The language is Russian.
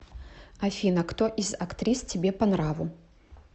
афина кто из актрис тебе по нраву